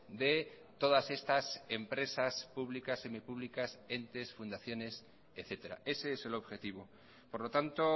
de todas estas empresas públicas semipúblicas entes fundaciones etcétera ese es el objetivo por lo tanto